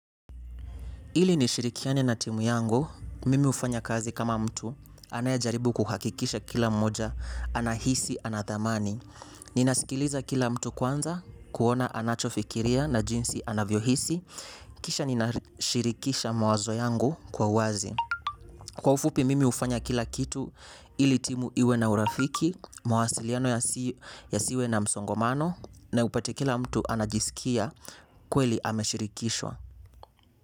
Ili nishirikiane na timu yangu, mimi hufanya kazi kama mtu, anayejaribu kuhakikisha kila mmoja, anahisi, ana thamani. Ninasikiliza kila mtu kwanza kuona anachofikiria na jinsi anavyohisi kisha ninashirikisha mawazo yangu kwa wazi. Kwa ufupi, mimi hufanya kila kitu ili timu iwe na urafiki, mawasiliano yasiwe na msongomano, na upate kila mtu anajisikia kweli ameshirikishwa.